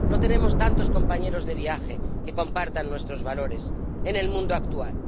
No tenemos tantos compañeros de viaje que compartan nuestros valores en el mundo actual.